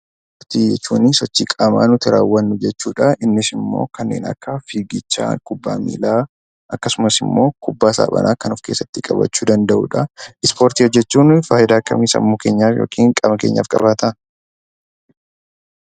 Ispoortii jechuun sochii qaamaa nuti raawwannu jechuudha. Innis immoo kanneen akka fiigicha, kubbaa miilaa akkasumas immoo kubbaa saaphanaa kan of keessatti qabachuu danda'udha. Ispoortii hojjechuun fayidaa akkamii sammuu keenyaaf yookiin qaama keenyaaf qabaataa?